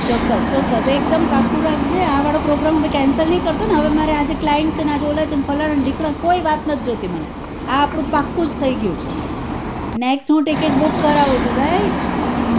ચોક્કસ ચોક્કસ ચોક્કસ એક દમ પાકકું રાખજે આ વાળો program હવે cancer નઈ કરતો ને હવે મારે આજે clint છે ને આજે ઓલા છે ને ફલાના છે ધીકના છે ને એવી કોઈ વાત નથ જોતી આ આપડું પાક્કું જ થઇ ગયું છે હું next ticket બુકાય કરાવું છુ rigth